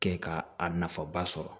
Kɛ ka a nafaba sɔrɔ